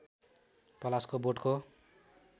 पलासको बोटको